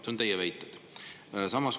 See on teie väide.